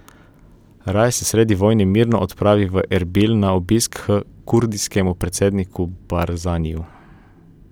Raje se sredi vojne mirno odpravi v Erbil na obisk h kurdskemu predsedniku Barzaniju.